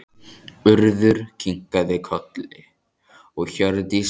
Urður kinkaði kolli og Hjördís sagði